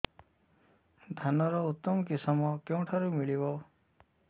ଧାନର ଉତ୍ତମ କିଶମ କେଉଁଠାରୁ ମିଳିବ